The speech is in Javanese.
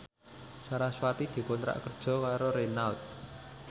sarasvati dikontrak kerja karo Renault